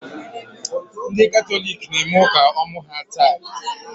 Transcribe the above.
Ndị Katọlik na-eme ụka ọmụ ha taa.